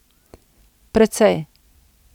Precej.